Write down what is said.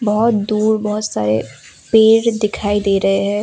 बहुत दूर बहुत सारे पेड़ दिखाई दे रहे हैं।